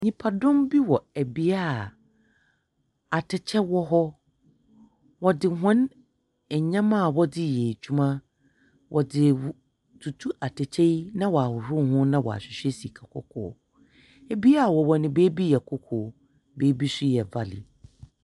Nnyimpadɔm bi wɔ bea a atɛkyɛ wɔ hɔ. Wɔdze hɔn nnyɛma a wɔdze yɛ adwuma wɔdze retutu atɛkyɛ yi na ɔahohor ho na wɔahwehwɛ sika kɔkɔɔ. Bea a wɔwɔ no beebi yɛ koko, na beebi nso yɛ valley.